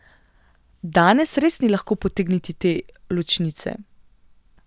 Danes res ni lahko potegniti te ločnice.